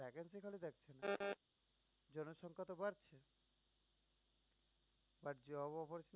জনসংখ্যা তো বাড়ছেই but job opportunity